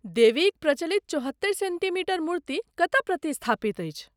देवीक प्रचलित चौहत्तरि सेन्टीमीटर मूर्ति कतय प्रतिस्थापित अछि?